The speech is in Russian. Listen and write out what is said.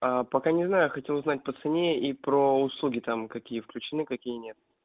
аа пока не знаю хотел узнать по цене и про услуги там какие включены какие нет